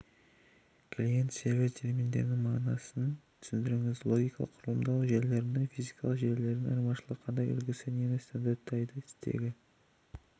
клиент сервер терминдерінің мағынасын түсіндіріңіз логикалық құрылымдау желілерінен физикалық желілердің айырмашылығы қандай үлгісі нені стандарттайды стегі